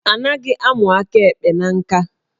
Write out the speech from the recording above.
A naghị amụ aka ekpe na nka